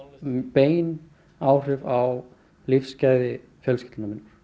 bein áhrif á lífsgæði fjölskyldu minnar